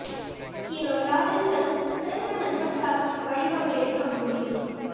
hero டிராஜன்கள் சிறந்த நண்பர் சாவுக்கு பழிவாங்க எடுக்க முடிவு